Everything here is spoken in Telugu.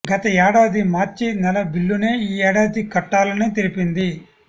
గత యేడాది మార్చి నెల బిల్లునే ఈ ఏడాదీ కట్టాలని తెలిపింది